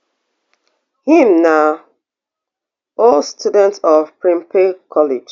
im na old student of prempeh college